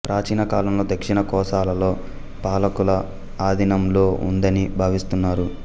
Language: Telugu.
ప్రాచీన కాలంలో దక్షిణ కోసలలో పాలకుల ఆధీనంలో ఉందని భావిస్తున్నారు